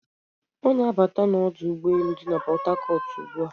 Ọ na-abata n'ọdụ ụgbọelu dị na Pọtakọt ugbu a.